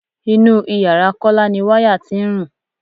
Inú ìyára Kọ́lá ni wáyà tí ń rùn.